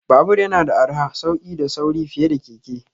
Babur yana da arha, sauki da sauri fiye da keke.